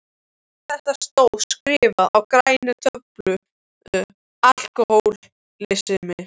Allt þetta stóð skrifað á græna töflu: Alkohólismi.